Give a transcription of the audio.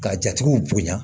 Ka jatigiw bonya